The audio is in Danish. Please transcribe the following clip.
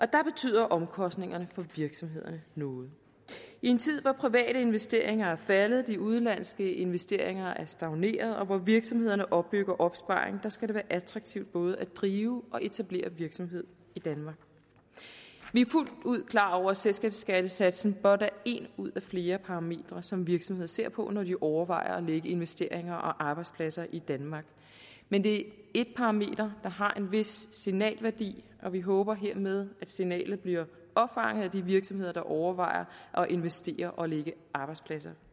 der betyder omkostningerne for virksomhederne noget i en tid hvor private investeringer er faldet de udenlandske investeringer er stagneret og hvor virksomhederne opbygger opsparing skal det være attraktivt både at drive og etablere virksomhed i danmark vi er fuldt ud klar over at selskabsskattesatsen blot er en ud af flere parametre som virksomheder ser på når de overvejer at lægge investeringer og arbejdspladser i danmark men det et parameter der har en vis signalværdi og vi håber hermed at signalet bliver opfanget af de virksomheder der overvejer at investere og lægge arbejdspladser